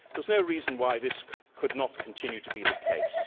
There is no reason why this could not continue to be the case.